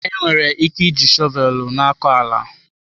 Enwere ike iji shọvel na-akọ ala.